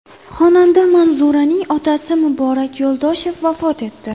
Xonanda Manzuraning otasi Muborak Yo‘ldoshev vafot etdi.